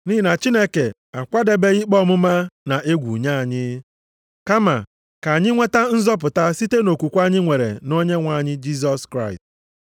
Nʼihi na Chineke akwadebeghị ikpe ọmụma na egwu nye anyị. Kama ka anyị nweta nzọpụta site nʼokwukwe anyị nwere nʼOnyenwe anyị Jisọs Kraịst.